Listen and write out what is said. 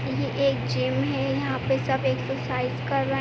ये एक जिम है। यहाँ पे सब एक्सरसाइज़ कर र --